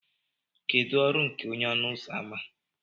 kedu ọrụ nke onye ọnụ ụzọ ámá